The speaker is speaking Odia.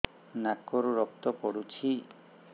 ନାକରୁ ରକ୍ତ ପଡୁଛି